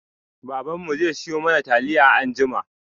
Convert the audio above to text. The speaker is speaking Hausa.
Baban mu zai siyo mana taliya anjima.